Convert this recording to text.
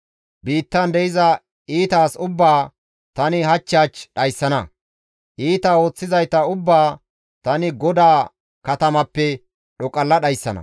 Biittan de7iza iita as ubbaa tani hach hach dhayssana; iita ooththizayta ubbaa tani GODAA katamappe dhoqalla dhayssana.